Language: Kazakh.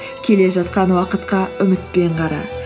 келе жатқан уақытқа үмітпен қара